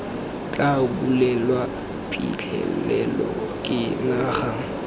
tla bulelwa phitlhelelo ke naga